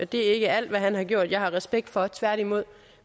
det er ikke alt hvad han har gjort jeg har respekt for tværtimod